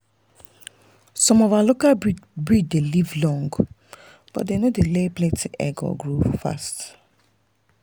some of our local breed dey live long but dem no dey lay plenty egg or grow fast.